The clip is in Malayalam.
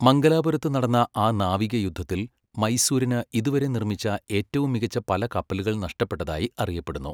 മംഗലാപുരത്ത് നടന്ന ആ നാവിക യുദ്ധത്തിൽ മൈസൂരിന് ഇതുവരെ നിർമ്മിച്ച ഏറ്റവും മികച്ച പല കപ്പലുകൾ നഷ്ടപ്പെട്ടതായി അറിയപ്പെടുന്നു.